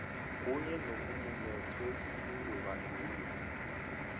kunye nokumumethwe sifundobandulo